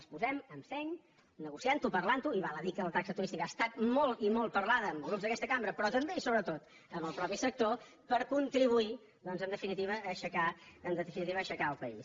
les posem amb seny negociant ho parlant ho i val a dir que la taxa turística ha estat molt i molt parlada amb grups d’aquesta cambra però també i sobretot amb el mateix sector per contribuir doncs en definitiva a aixecar el país